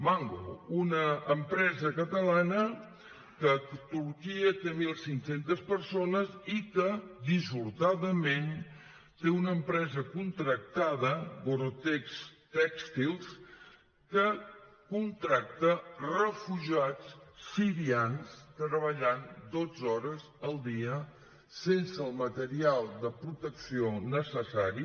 mango una empresa catalana que a turquia té mil cinc cents persones i que dissortadament té una empresa contractada gore tex tèxtils que contracta refugiats sirians treballant dotze hores al dia sense el material de protecció necessari